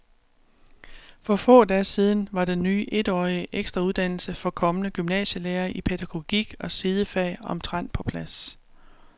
For få dage siden var den ny etårige ekstrauddannelse for kommende gymnasielærere i pædagogik og sidefag omtrent på plads.